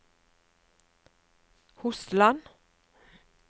Hosteland